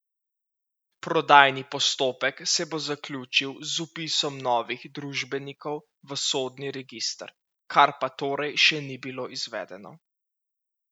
Prodajni postopek se bo zaključil z vpisom novih družbenikov v sodni register, kar pa torej še ni bilo izvedeno.